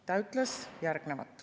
Ta ütles järgnevat.